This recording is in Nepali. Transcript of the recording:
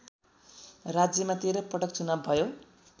राज्यमा १३ पटक चुनाव भयो